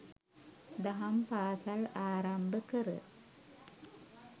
දහම් පාසල් ආරම්භ කර